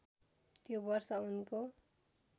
त्यो वर्ष उनको